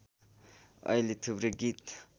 अहिले थुप्रै गीत